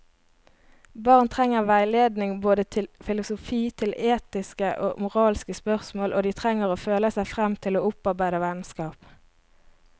Barn trenger veiledning både til filosofi, til etiske og moralske spørsmål, og de trenger å føle seg frem til å opparbeide vennskap.